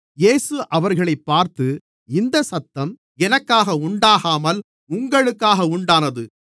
இயேசு அவர்களைப் பார்த்து இந்தச் சத்தம் எனக்காக உண்டாகாமல் உங்களுக்காக உண்டானது